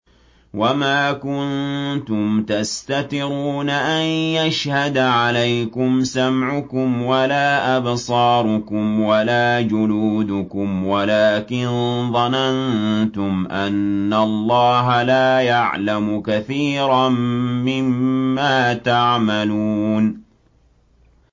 وَمَا كُنتُمْ تَسْتَتِرُونَ أَن يَشْهَدَ عَلَيْكُمْ سَمْعُكُمْ وَلَا أَبْصَارُكُمْ وَلَا جُلُودُكُمْ وَلَٰكِن ظَنَنتُمْ أَنَّ اللَّهَ لَا يَعْلَمُ كَثِيرًا مِّمَّا تَعْمَلُونَ